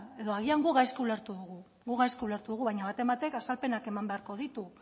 edo agian gu gaizki ulertu dugu gu gaizki ulertu dugu baina baten batek azalpenak eman beharko ditu